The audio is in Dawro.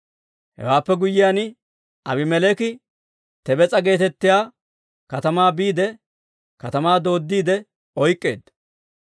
Hewaappe guyyiyaan, Aabimeleeki Tebes'a geetettiyaa katamaa biide, katamaa dooddiide oyk'k'eedda.